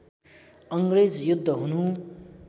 अङ्ग्रेज युद्ध हुनु